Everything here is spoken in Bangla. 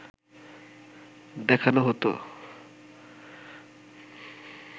দেখানো হতো